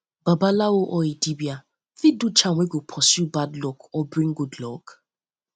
babalawo or dibia fit do charm wey go pursue bad go pursue bad luck or bring good luck